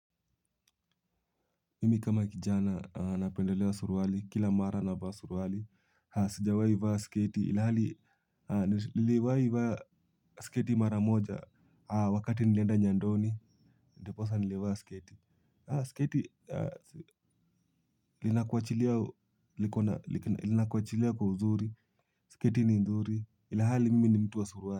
Mimi kama kijana napendelea suruali kila mara navaa suruwali. Sijawai vaa sketi ilhali niliwai vaa sketi mara moja. Wakati nilenda nyandoni ndiposa nilivaa sketi. Sketi linakuachilia kwa uzuri, sketi ni nzuri ilhali mimi ni mtu wa suruali.